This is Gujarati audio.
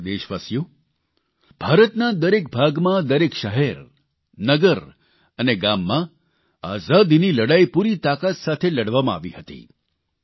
મારા વ્હાલા દેશવાસીઓ ભારતના દરેક ભાગમાં દરેક શહેર નગર અને ગામમાં આઝાદીની લડાઇ પૂરી તાકાત સાથે લડવામાં આવી હતી